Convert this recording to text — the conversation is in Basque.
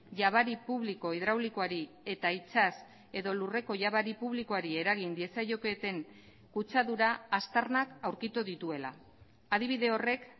jabari publiko hidraulikoari eta itsas edo lurreko jabari publikoari eragin diezaioketeen kutsadura aztarnak aurkitu dituela adibide horrek